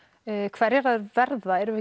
hverjar þær verða erum við